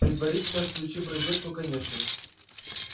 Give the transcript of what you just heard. предварительно включив в розетку конечно